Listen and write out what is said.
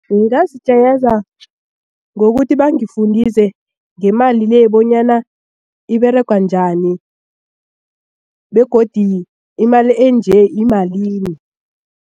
Ngingazijayeza ngokuthi bangifundise ngemali le bonyana iberega njani begodi imali enje yimalini.